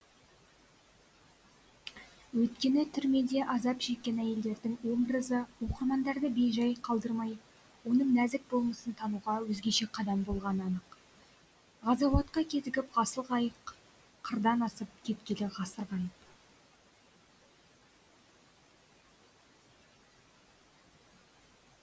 өйткені түрмеде азап шеккен әйелдердің образы оқырманды бейжай қалдырмай оның нәзік болмысын тануға өзгеше қадам болғаны анық ғазауатқа кезігіп ғасыл қайық қырдан асып кеткелі ғасыр ғайып